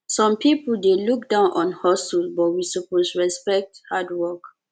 some pipo dey look down on hustle but we suppose respect hard work